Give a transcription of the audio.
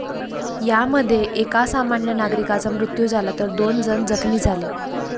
यामध्ये एका सामान्य नागरिकाचा मृत्यू झाला, तर दोन जण जखमी झाले.